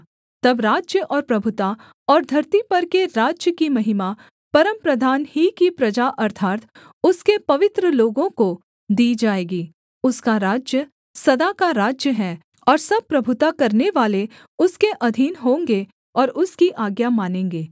तब राज्य और प्रभुता और धरती पर के राज्य की महिमा परमप्रधान ही की प्रजा अर्थात् उसके पवित्र लोगों को दी जाएगी उसका राज्य सदा का राज्य है और सब प्रभुता करनेवाले उसके अधीन होंगे और उसकी आज्ञा मानेंगे